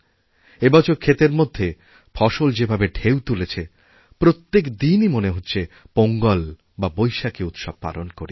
এবছর ক্ষেতের মধ্যে ফসল যেভাবে ঢেউ তুলেছেপ্রত্যেক দিনই মনে হচ্ছে পোঙ্গল বা বৈশাখী উৎসব পালন করি